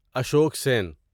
Ashok سین